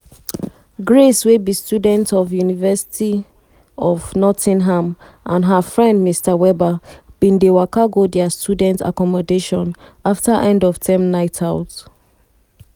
grace wey be student of university of nottingham and her friend mr webber bin dey waka go dia student accommodation afta end-of-term night-out